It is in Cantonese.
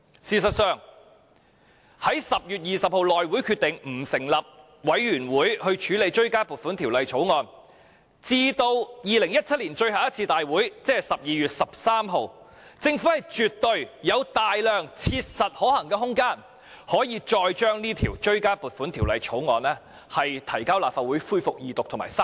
事實上，在10月20日內務委員會決定不成立法案委員會處理追加撥款條例草案至2017年最後一次大會，即12月13日，政府絕對有大量切實可行的空間，將這項追加撥款條例草案再提交立法會恢復二讀及三讀。